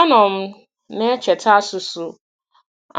Anọ m na-echeta asụsụ